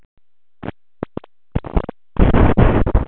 Kristján Már Unnarsson: Hvernig er staðan?